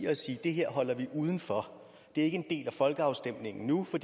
at sige at det her holder vi uden for det er ikke en del af folkeafstemningen nu for